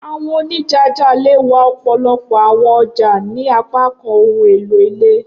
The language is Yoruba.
Awọn onijaja le wa ọpọlọpọ awọn ọja ni apakan ohun elo ile.